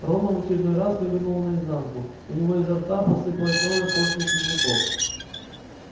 рона в очередной раз вывернуло наизнанку у него изо рта посыпалась новая порция слизняков